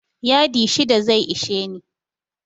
Yadi shida zai ishe ni.